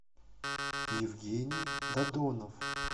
евгений додонов